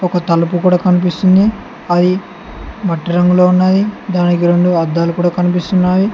ఒక తలుపు కూడ కనిపిస్తుంది అది మట్టి రంగులో ఉన్నది దానికి రొండు అద్దాలు కూడ కనిపిస్తున్నాయి.